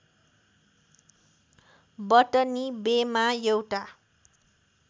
बटनी बेमा एउटा